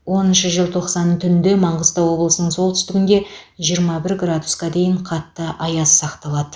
оныншы желтоқсан түнде маңғыстау облысының солтүстігінде жиырма бір градусқа дейін қатты аяз сақталады